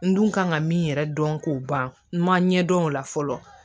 N dun kan ka min yɛrɛ dɔn k'o ban n ma ɲɛ dɔn o la fɔlɔ